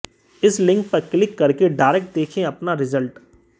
इस लिंक पर क्लिक करके डायरेक्ट देखें अपना रिजल्ट